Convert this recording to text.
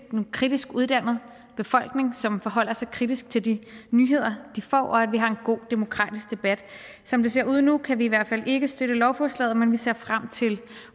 en kritisk uddannet befolkning som forholder sig kritisk til de nyheder de får og at vi har en god demokratisk debat som det ser ud nu kan vi i hvert fald ikke støtte lovforslaget men vi ser frem til